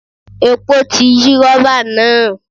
Epo ti yí rọ́bà náà.